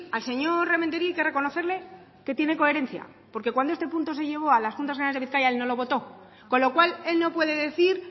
al señor rementeria hay que reconocerle que tiene coherencia porque cuando este punto se llevó a las juntas generales de bizkaia él no lo votó con lo cual él no puede decir